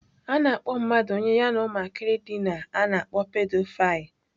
A na-akpọ mmadụ onye ya na ụmụntakịrị dina, a na-akpọ Pedophile